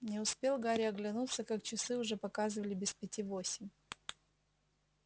не успел гарри оглянуться как часы уже показывали без пяти восемь